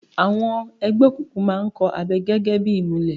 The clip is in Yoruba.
Àwọn ẹgbẹ́ òkùnkùn má ń kọ̀ abẹ gẹ́gẹ́ ìmùlẹ̀